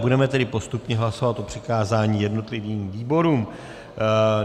Budeme tedy postupně hlasovat o přikázání jednotlivým výborům.